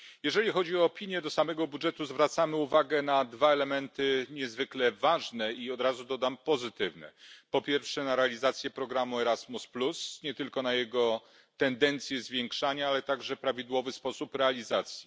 Jeżeli chodzi o opinię do samego budżetu, zwracamy uwagę na dwa elementy niezwykle ważne, i od razu dodam pozytywne, po pierwsze na realizację programu Erasmus nie tylko na tendencję do jego zwiększania, ale także prawidłowy sposób realizacji.